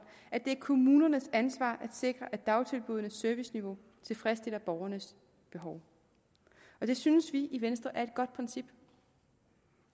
at det er kommunernes ansvar at sikre at dagtilbuddenes serviceniveau tilfredsstiller borgernes behov det synes vi i venstre er et godt princip